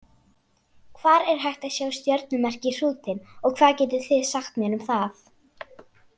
Hvar er hægt að sjá stjörnumerkið Hrútinn og hvað getið þið sagt mér um það?